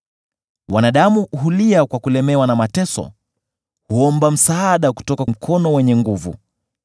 “Wanadamu hulia kwa kulemewa na mateso; huomba msaada kutoka mkono wenye nguvu.